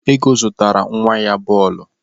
Ego zụtara nwa ya bọọlụ.